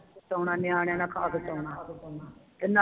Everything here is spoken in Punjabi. ਕਟੋਣਾ ਨਿਆਣਿਆਂ ਨਾਲ ਖਾ ਕੇ ਕਟੋਣਾ ਤੇ ਨਾਲੇ